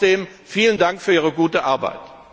Trotzdem vielen Dank für Ihre gute Arbeit!